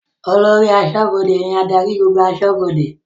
Olórí aṣọ́bọdè ní adarí gbogbo aṣọ́bọdè